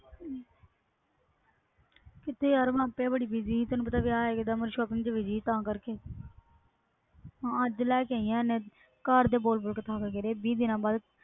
ਕਿਥੇ ਯਾਰ ਤੈਨੂੰ ਪਤਾ ਵਿਵਾਹ ਆ ਗਿਆ busy shopping ਤਾ ਕਰਕੇ ਅੱਜ ਲੈ ਕੇ ਆਈ ਆ ਘਰਦੇ ਬੋਲ ਬੋਲ ਕੇ ਥੱਕ ਗੇ